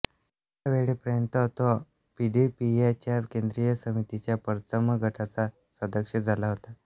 ह्यावेळेपर्यंत तो P D P A च्या केंद्रीय समितीच्या पर्चम गटाचा सदस्य झाला होता